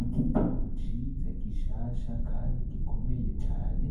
Igitabo ciza gishasha kandi gikomeye cane